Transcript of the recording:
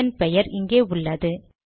இதன் பெயர் இங்கே உள்ளது